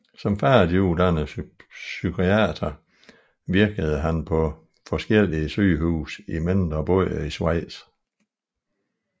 Som færdiguddannet psykiater virkede han på forskellige sygehuse i mindre byer i Schweiz